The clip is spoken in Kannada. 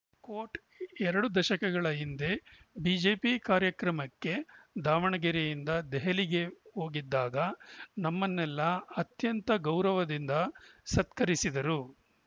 ಕೋಟ್‌ ಎರಡು ದಶಕಗಳ ಹಿಂದೆ ಬಿಜೆಪಿ ಕಾರ್ಯಕ್ರಮಕ್ಕೆ ದಾವಣಗೆರೆಯಿಂದ ದೆಹಲಿಗೆ ಹೋಗಿದ್ದಾಗ ನಮ್ಮನ್ನೆಲ್ಲಾ ಅತ್ಯಂತ ಗೌರವದಿಂದ ಸತ್ಕರಿಸಿದ್ದರು